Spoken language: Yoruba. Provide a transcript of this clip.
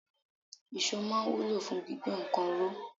Iso máa ń wúlò fún gbígbé nǹkan ró.